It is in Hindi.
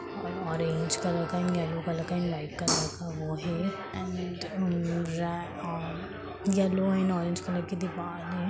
ऑरेंज कलर का एक एलो कलर का लाइट वाइट कलर का वो ह एंड रे और येलो एंड ऑरेंज कलर की दीवाल है।